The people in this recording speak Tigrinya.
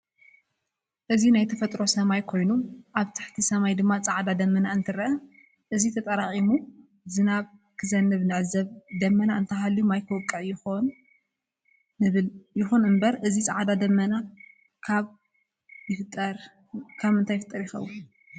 እዚ ናይ ተፈጥሮ ሰማይ ኮይኑ ኣብ ትሕት ሰማይ ድማ ፃዕዳ ደመና እንትርእ እዚ ተጣራቅሙ ዝናብ ክዘንብ ንዕዘብ ደመና እንተሃልዩ ማይ ክውቅዕ ይኮል ንብል ይኵን እንበር እዚ ፃዕዳ ደመና ካብ ይፍጠር ይከን?